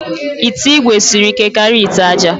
Ite igwe siri ike karịa ite aja